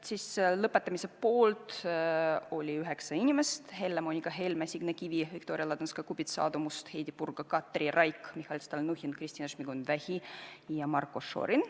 Lõpetamise poolt oli 9 inimest: Helle-Moonika Helme, Signe Kivi, Viktoria Ladõnskaja-Kubits, Aadu Must, Heidy Purga, Katri Raik, Mihhail Stalnuhhin, Kristina Šmigun-Vähi ja Marko Šorin.